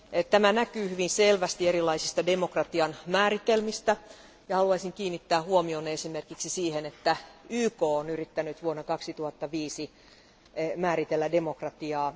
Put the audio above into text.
Tämä näkyy hyvin selvästi erilaisista demokratian määritelmistä ja haluaisin kiinnittää huomion esimerkiksi siihen, että YK on yrittänyt vuonna 2005 määritellä demokratiaa.